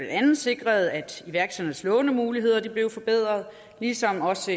andet sikres at iværksætternes lånemuligheder blev forbedret ligesom der også